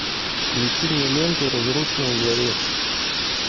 включи мне ленту разрушенный дворец